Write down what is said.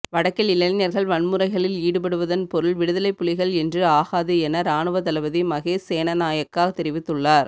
வடக்கில் இளைஞர்கள் வன்முறைகளில் ஈடுப்படுவதன் பொருள் விடுதலைப்புலிகள் என்று ஆகாது என இராணுவத்தளபதி மகேஸ் சேனாநாயக்க தெரிவித்துள்ளார்